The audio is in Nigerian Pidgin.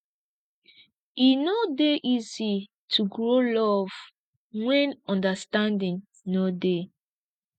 e no dey easy to grow love wen understanding no dey